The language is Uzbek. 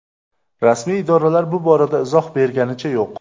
Rasmiy idoralar bu borada izoh berganicha yo‘q.